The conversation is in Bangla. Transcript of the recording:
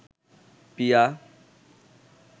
পিয়া